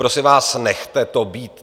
Prosím vás, nechte to být.